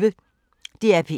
DR P1